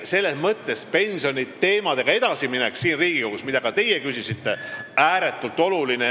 Selles mõttes on pensioniteemadega edasiminek siin Riigikogus, mille kohta ka teie küsisite, ääretult oluline.